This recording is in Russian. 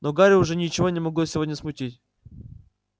но гарри уже ничего не могло сегодня смутить